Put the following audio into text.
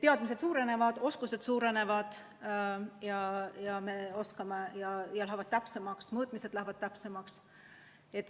Teadmised paranevad, oskused paranevad, mõõtmised lähevad täpsemaks.